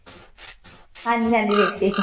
ਹਾਂਜੀ ਹਾਂਜੀ ਵੇਖੀ ਸੈ